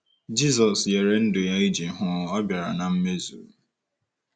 Jizọs nyere ndụ ya iji hụ ọ bịara na mmezu.